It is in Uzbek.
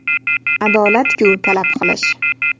Adolat-ku talab qilish.